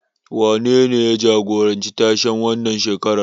Wanene ya jagoranci tashen wannan shekarar?